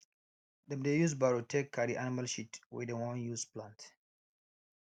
dem dey use barrow take carry animal shit wey dem wan use plant